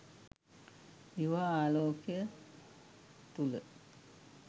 දිවා ආලෝකය තුළ.